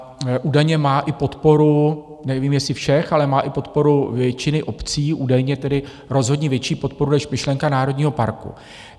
A údajně má i podporu, nevím, jestli všech, ale má i podporu většiny obcí, údajně tedy rozhodně větší podporu než myšlenka národního parku.